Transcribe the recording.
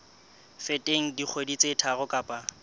feteng dikgwedi tse tharo kapa